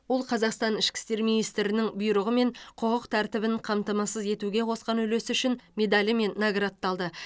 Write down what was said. ол қазақстан ішкі істер министрінің бұйрығымен құқық тәртібін қамтамасыз етуге қосқан үлесі үшін медалімен наградталды